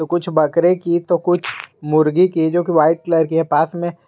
कुछ बकरे की तो कुछ मुर्गी की जो की व्हाईट कलर की पास में--